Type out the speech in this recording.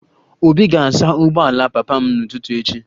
Obi ga-asa ụgbọala papa m n'ụtụtụ echi